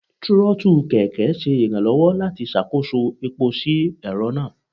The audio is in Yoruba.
trotú kẹkẹ ṣe iranlọwọ lati ṣakoso epó si ẹrọ naa.